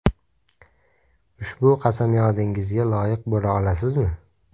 Ushbu qasamyodingizga loyiq bo‘la olasizmi?